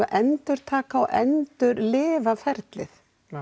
að endurtaka og endurlifa ferlið